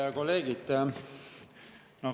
Head kolleegid!